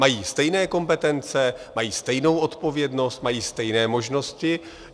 Mají stejné kompetence, mají stejnou odpovědnost, mají stejné možnosti.